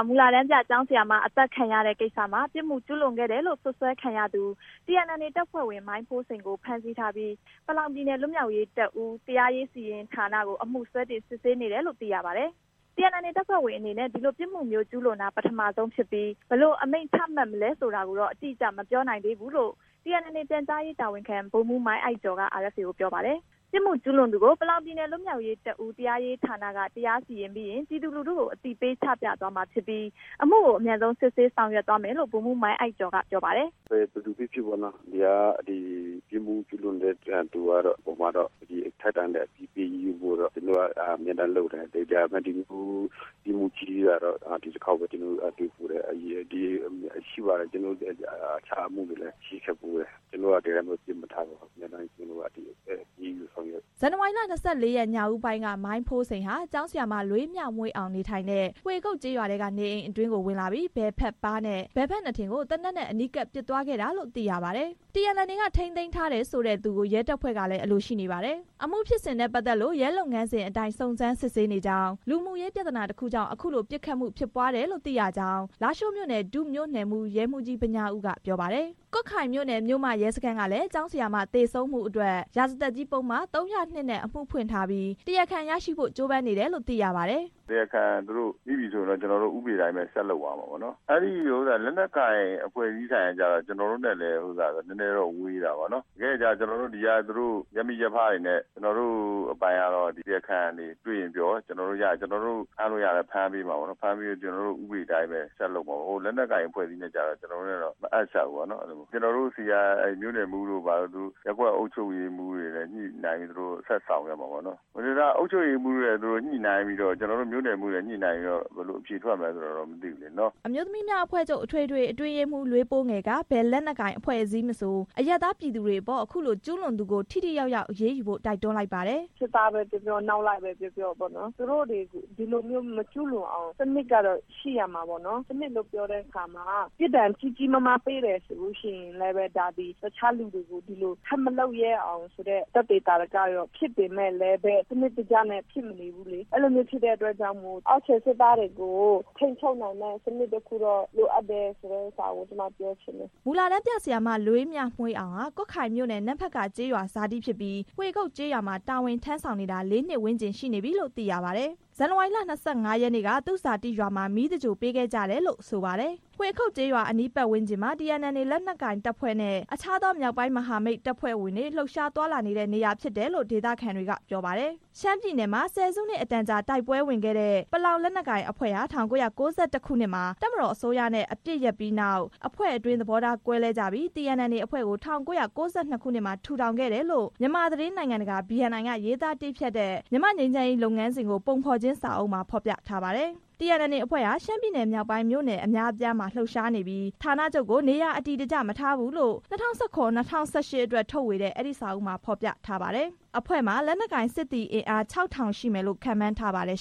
မူလတန်းပြ ကျောင်းဆရာမ အသတ်ခံရတဲ့ကိစ္စမှာ ပြစ်မှုကျူးလွန်ခဲ့တယ်လို့ စွပ်စွဲခံရသူ TNLA တပ်ဖွဲ့ဝင် မိုင်းဖိုးစိန်ကို ဖမ်းဆီးထားပြီး ပလောင်ပြည်နယ် လွတ်မြောက်ရေးတပ်ဦး PSLF / TNLA တရားရေးဌာနကို အမှုစွဲတင် စစ်ဆေးနေတယ်လို့ သိရပါတယ်။ TNLA တပ်ဖွဲ့ဝင်အနေနဲ့ ဒီလိုပြစ်မှုမျိုး ကျူးလွန်တာ ပထမဆုံးဖြစ်ပြီး ဘယ်လိုအမိန့်ချမှတ်မလဲ ဆိုတာကိုတော့ အတိအကျ မပြောနိုင်သေးဘူးလို့ TNLA ပြန်ကြားရေးတာဝန်ခံ ဗိုလ်မှူး မိုင်းအိုက်ကျော်က RFA ကို ပြောပါတယ်။ ပြစ်မှုကျူးလွန်သူကို ပလောင်ပြည်နယ် လွတ်မြောက်ရေးတပ်ဦး PSLF/TNLA တရားရေးဌာနက တရားစီရင်ပြီးရင် ပြည်သူလူထုကို အသိပေးချပြသွားမှာဖြစ်ပြီး အမှုကို အမြန်ဆုံးစစ်ဆေး ဆောင်ရွက်သွားမယ်လို့ ဗိုလ်မှူး မိုင်းအိုက်ကျော်က ပြောပါတယ်။ “ဘယ်သူဖြစ်ဖြစ် ပြစ်မှုကျူးလွန်တဲ့အပေါ်မှာ ထိုက်တန်တဲ့အပြစ်ပေး အရေးယူဖို့ ကျွန်တော်တို့ အမြဲတမ်း လုပ်တယ်။ ပြစ်မှုကြီးကတော့ ဒီတစ်ခေါက်ပဲ တွေ့ဖူးတယ်။ အခြားအမှုတွေတော့ ရှိခဲ့ဖူးတယ်။ ဒီအတိုင်းတော့ ပစ်မထားပါဘူး။ အမြဲတမ်း အရေးယူဆောင်ရွက်ပါတယ်” ဇန်နဝါရီ ၂၄ ညဦးပိုင်းက မိုင်းဖိုးစိန်ဟာ ကျောင်းဆရာမ လွေးမြမွှေးအောင်နေထိုင်တဲ့ ဟွေခုတ်ကျေးရွာထဲက နေအိမ်အတွင်းကို ဝင်လာပြီး ဘယ်ဘက်ပါးနဲ့ ဘယ်ဘက်နားထင်ကို သေနတ်နဲ့ အနီးကပ် ပစ်သွားခဲ့တာလို့ သိရပါတယ်။ TNLA က ထိန်းသိမ်းထားတယ်ဆိုတဲ့ သူကို ရဲတပ်ဖွဲ့ကလည်း အလိုရှိနေပါတယ်။ အမှုဖြစ်စဉ်နဲ့ပတ်သက်လို့ ရဲလုပ်ငန်းစဉ်အတိုင်း စုံစမ်းစစ်ဆေးနေကြောင်း၊ လူမှုရေး ပြဿနာတစ်ခုကြောင့် အခုလို ပစ်ခတ်မှုဖြစ်ပွားတယ်လို့ သိရကြောင်း လားရှိုးမြို့နယ် ဒုမြို့နယ်မှူး ရဲမှူးကြီး ဗညားဦးက ပြောပါတယ်။ ကွတ်ခိုင်မြို့နယ် (မြို့မ) ရဲစခန်းကလည်း ကျောင်းဆရာမ သေဆုံးမှုအတွက် ရာဇသတ်ကြီးပုဒ်မ (၃၀၂) နဲ့ အမှုဖွင့်ထားပြီး တရားခံရရှိဖို့ ကြိုးပမ်းနေတယ်လို့ သိရပါတယ်။ “တရားခံမိပြီဆိုရင် ဥပဒေအတိုင်း ဆက်လုပ်သွားမယ်။ လက်နက်ကိုင် အဖွဲ့အစည်းဆိုင်ရာကျတော့ ကျွန်တော်တို့နဲ့ နည်းနည်းဝေးတယ်။ ရပ်ဖိရပ်ဖတွေနဲ့ ကျွန်တော်တို့အပိုင်မှာ တရားခံတွေ့ရင်ပြော၊ ကျွန်တော်တို့ဖမ်းလို့ရရင် ဖမ်းပေးပြီး ဥပဒေအတိုင်းပဲ ဆက်လုပ်မယ်။ လက်နက်ကိုင်အဖွဲ့အစည်းနဲ့ကျတော့ ကျွန်တော်တို့နဲ့ မအပ်စပ်ဘူး။ ကျွန်တော်တို့ဆီက မြို့နယ်မှူးတို့ ရပ်ကွက် အုပ်ချုပ်ရေးမှူးတို့တွေနဲ့ ညှိနှိုင်းပြီး ဆက်လက်ဆောင်ရွက်မယ်။ သူတို့တွေညှိနှိုင်းပြီးတော့ ဘယ်လိုတွေ အဖြေထွက်မလဲတော့ မသိဘူး” အမျိုးသမီးများ အဖွဲ့ချုပ် (မြန်မာနိုင်ငံ) အထွေထွေ အတွင်းရေးမှူး လွေးပိုးငယ်က ဘယ်လက်နက်ကိုင် အဖွဲ့အစည်းမဆို အရပ်သားပြည်သူတွေအပေါ် အခုလို ကျူးလွန်သူကို ထိထိရောက်ရောက် အရေးယူဖို့ တိုက်တွန်းလိုက်ပါတယ်။ “ကိုယ့်ရဲ့စစ်သားပဲပြောပြော၊ နောက်လိုက်ပဲပြောပြော သူတို့တွေ ဒီလိုမျိုးမကျူးလွန်အောင် စနစ်ရှိရမယ်။ စနစ်လို့ပြောတဲ့အခါမှာ ပြစ်ဒဏ်ကြီးကြီးမားမား ပေးတယ်ဆိုရင်လည်း တခြားလူတွေကို ဒီလို ထပ်မလုပ် ရဲအောင်ဆိုတဲ့ သာဓကတော့ ဖြစ်ပေမယ့် စနစ်တကျနဲ့ ဖြစ်မနေဘူးလေ။ ဒီလိုဖြစ်တဲ့အတွက် တကယ်ကို စနစ်တကျနဲ့ ကိုယ့်ရဲ့အောက်ခြေ စစ်သားတွေကို ထိန်းချုပ်နိုင်မယ့် စနစ်တစ်ခုတော့ လိုအပ်တယ်” မူလတန်းပြဆရာမ လွေးမြမွှေးအောင်ဟာ ကွတ်ခိုင်မြို့နယ် နမ့်ဖက်ကာကျေးရွာဇာတိဖြစ်ပြီး ဟွေခုတ်ကျေးရွာမှာ တာဝန်ထမ်းဆောင်နေတာ လေးနှစ်ဝန်းကျင်ရှိနေပြီလို့ သိရပါတယ်။ ဇန်နဝါရီလ ၂၅ ရက်နေ့က သူ့ဇာတိရွာမှာ မီးသင်္ဂြိုဟ်ပေးခဲ့ကြတယ်လို့ ဆိုပါတယ်။ ဟွေခုတ်ကျေးရွာအနီး ပတ်ဝန်းကျင်မှာ TNLA လက်နက်ကိုင်တပ်ဖွဲ့နဲ့ အခြားသော မြောက်ပိုင်းမဟာမိတ်အဖွဲ့ တပ်ဖွဲ့ဝင်တွေ သွားလာလှုပ်ရှားတဲ့ နေရာဖြစ်တယ်လို့ ဒေသခံတွေက ပြောပါတယ်။ ရှမ်းပြည်နယ်မှာ ဆယ်စုနှစ်အတန်ကြာ တိုက်ပွဲဝင်ခဲ့တဲ့ ပလောင်လက်နက်ကိုင်အဖွဲ့ဟာ ၁၉၉၁ ခုနှစ်မှာ တပ်မတော်အစိုးရနဲ့ အပစ်ရပ်ပြီးနောက် အဖွဲ့အတွင်း သဘောထားကွဲကြပြီး TNLA အဖွဲ့ကို ၁၉၉၂ ခုနှစ်မှာ ထူထောင်ခဲ့တယ်လို့ မြန်မာသတင်းနိုင်ငံတကာ (BNI) က ရေးသားတည်းဖြတ်တဲ့ မြန်မာ့ငြိမ်းချမ်းရေး လုပ်ငန်းစဉ်ကိုပုံဖော်ခြင်း စာအုပ်မှာ ဖော်ပြထားပါတယ်။ TNLA အဖွဲ့ဟာ ရှမ်းပြည်မြောက်ပိုင်း မြို့နယ်အများအပြားမှာ လှုပ်ရှားနေပြီး ဌာနချုပ်ကို နေရာအတည်တကျ မထားဘူးလို့ ၂၀၁၇ -၂၀၁၈အတွက် ထုတ်ဝေတဲ့ အဲဒီစာအုပ်မှာ ဖော်ပြထားပါတယ်။ အဖွဲ့မှာ လက်နက်ကိုင် စစ်သည်အင်အား ၆၀၀၀ ရှိမယ်လို့ ခန့်မှန်းထားပါတယ်